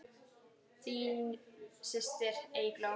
Þín systir, Eygló.